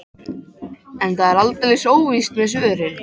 En það er aldeilis óvíst með svörin.